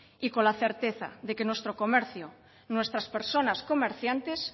y con la certeza de que nuestro comercio nuestras personas comerciantes